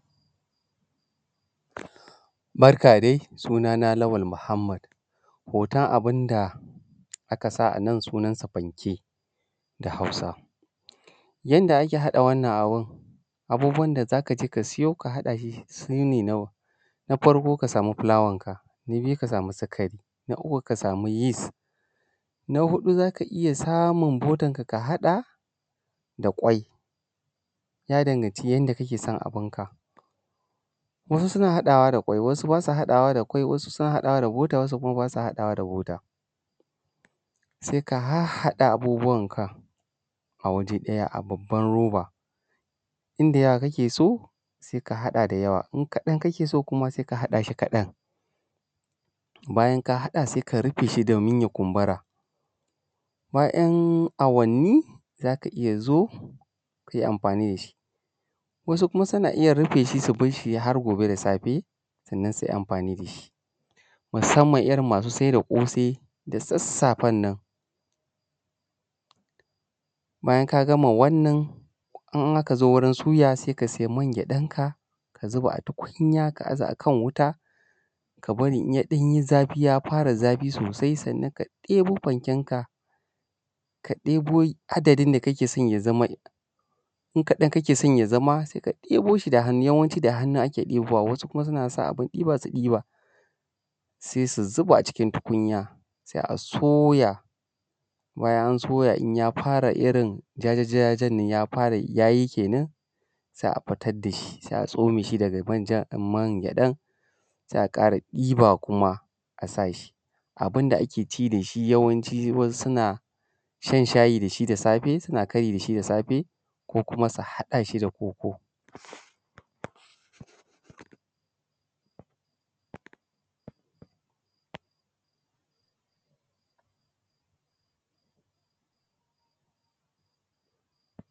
Barka dai sunana Lawal Muhammad hoton abunda akasa anan sunan sa fanke da hausa. Yanda ake haɗa wannan abun, abubuwan da zakaje kasiyo haɗahi sune na farko ka samu fulawanka. Na biyu ka samu sikari. Na uku ka samu yis. Na huɗu zaka iyya samun botanka ka haɗa da kwai ya danganci yanda kakeson abunka. Wasu suna haɗawa da kwai wasu basa haɗawa da kwai wasu haɗaw da bota wasu basa haɗawa da bota. Sai ka hadda abubuwan ka a waje ɗaya a babbar roba inda yawa kakeso sai ka haɗa da yawa, in kaɗan kakeso sai ka haɗa kaɗan bayan ka haɗa sai ka rufeshi domin ya kumbura bayan awwani zaka iyya zo kai amfani dashi, wasu kuma suna iyya rufeshi su barshi har gobe da safe sannan sui amfani dashi. Musamman irrin masu sai da ƙosai da sassafennan bayan kagama wannan in akazo wurusuya saika sai mangyaɗan ka, ka zuba a tukun ka aza akan wuta kabari inya ɗanyi zafi ya fara zafi sosai sannan ka ɗebo fanken ka, ka ɗebo adadin da kakeson ya zama in kaɗan kake so ya zama sai akɗai boshi da hannu yawanci da hannu ake ɗebowa wasu kuma su nasa abun ɗiba su ɗiba. Sai su zuba a cikin tukunya sai a soya bayan an soya yayi jajaja ɗinnan ya soyu kenan sai a tsamoshi daga mangyɗan sai aƙara zuwa kuma a sashi abunda akeci dashi yawan wasu suna shan shayi dashi da safe, suna kari dashi da safe ko kuma su haɗashi da koko